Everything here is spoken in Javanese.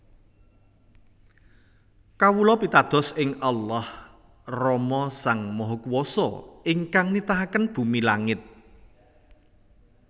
Kawula pitados ing Allah Rama Sang Mahakuwasa ingkang nitahaken bumi langit